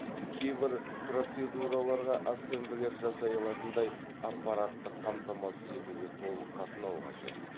кейбір процедураларға ассемблер жасай алатындай аппараттық қамтамасыз етуге толық қатынау қажет